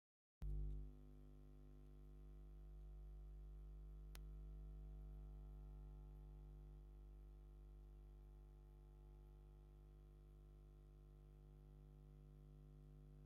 ኣብ ዘይተረጋግአ ዝመስል ቦታ ሰባት ሳንዱቕን ካልእን ኣንጠልጢሎም ይኸዱ ኣለዉ፡፡ ኣብዚ ኩነት ዘለዉ ሰባት ብኲናት ምኽንያት ካብ መረበቶም ዝተመዛበሉ ዶ ይኾኑ?